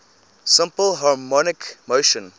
simple harmonic motion